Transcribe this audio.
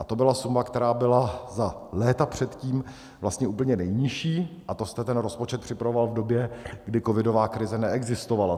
A to byla suma, která byla za léta předtím vlastně úplně nejnižší, a to jste ten rozpočet připravoval v době, kdy covidová krize neexistovala.